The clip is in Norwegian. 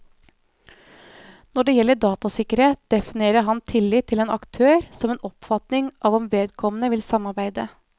Når det gjelder datasikkerhet, definerer han tillit til en aktør som en oppfatning av om vedkommende vil samarbeide.